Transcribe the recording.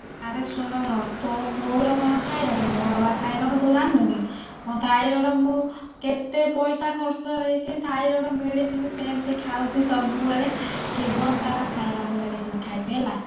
ଆରେ ଶୁଣୁ ତୋ ବୋଉର କଣ ଥାଇରେଡ ମୋର ବା ଥାଇରେଡ ତୁ ଜାଣିନୁ କି ମୋ ଥାଇରେଡ ମୁଁ କେତେ ପଇସା ଖରଚ ହେଇକି ଥାଇରେଡ medicine ସେମତି ଖାଉଛି ସବୁ ବେଳେ ଜୀବନ ସାରା ଥାଇରେଡ medicine ଖାଇବି ହେଲା।